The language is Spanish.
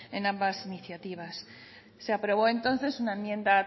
en ambas iniciativas se aprobó entonces una enmienda